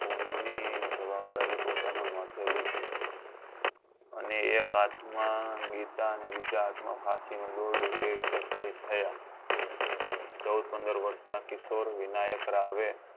ખૂન ની જવાદારી પોતાના માથે લીધી અને એક હાથ માં ગીતા ને બીજા હાથ માં ફાંસીનું દોરડું એ રીતે સહીદ થયા ચૌદ પંદર વર્ષ નાં કિશોર વિનાયક રાવે